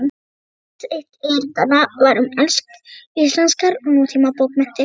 Aðeins eitt erindanna var um íslenskar nútímabókmenntir.